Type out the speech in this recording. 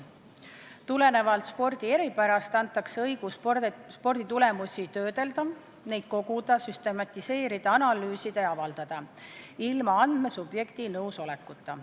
Tulenevalt spordi eripärast antakse eelnõuga õigus sporditulemusi töödelda – neid koguda, süstematiseerida, analüüsida ja avaldada – ilma andmesubjekti nõusolekuta.